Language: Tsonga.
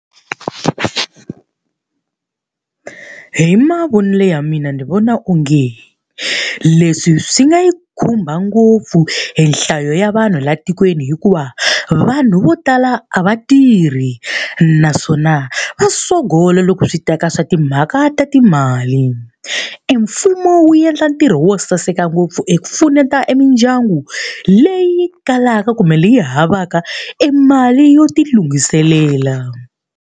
Hi mavonelo ya mina ni vona onge, leswi swi nga yi khumba ngopfu e nhlayo ya vanhu laha tikweni hikuva vanhu vo tala a va tirhi, naswona va sogola loko swi ta ka swa timhaka ta timali. E mfumo wu endla ntirho wo saseka ngopfu eku pfuneta mindyangu leyi kalaka kumbe leyi havaka e mali yo tilunghiselela.